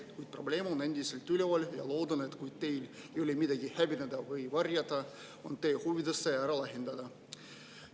Kuid probleem on endiselt üleval ja loodan, et kui teil ei ole midagi häbeneda või varjata, siis on teie huvides see ära lahendada.